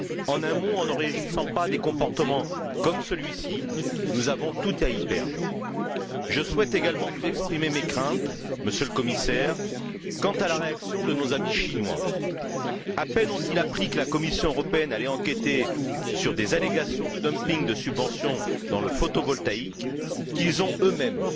En un mot, en ne réagissant pas à des comportements comme celui ci, nous avons tout à y perdre. Je souhaite également vous exprimer mes craintes, Monsieur le Commissaire, quant à la réaction de nos amis chinois. À peine ont ils appris que la Commission européenne allait enquêter sur des allégations de dumping de subventions dans le photovoltaïque, qu'ils ont, eux mêmes,